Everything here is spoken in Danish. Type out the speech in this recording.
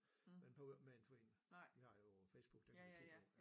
Men behøver ikke med en forening de har jo Facebook der kan du kigge på ja